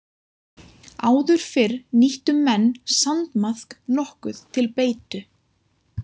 Áður fyrr nýttu menn sandmaðk nokkuð til beitu.